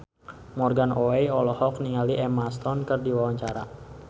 Morgan Oey olohok ningali Emma Stone keur diwawancara